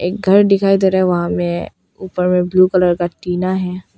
एक घर दिखाई दे रहा है वहां मे ऊपर में ब्लू कलर का टीना है।